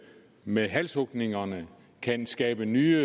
med halshugninger kan skabe ny